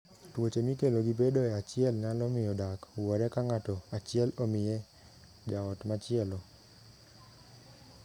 Tuoche mikelo gi bedoe achiel nyalo miyo dak wuore ka ng'ato achiel omiye jaot machielo.